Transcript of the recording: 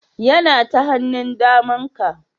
Yana ta hannun daman ka